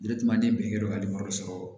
ne birike ka sɔrɔ